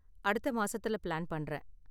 அடுத்த மாசத்துல பிளான் பண்றேன்.